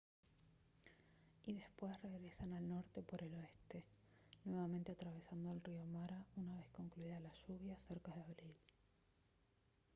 y después regresan al norte por el oeste nuevamente atravesando el río mara una vez concluidas las lluvias cerca de abril